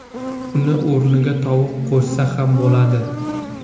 Uni o‘rniga tovuq qo‘shsa ham bo‘ladi.